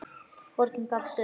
Borgin gafst upp.